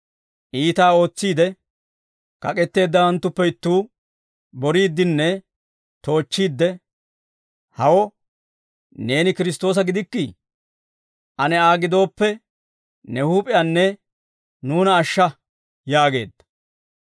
Iitaa ootsiide kak'etteeddawanttuppe ittuu, boriiddinne toochchiidde, «Hawo neeni Kiristtoosa gidikkii? Ane Aa gidooppe, ne huup'iyaanne nuuna ashsha» yaageedda.